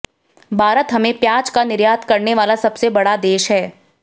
भारत हमें प्याज का निर्यात करने वाला सबसे बड़ा देश है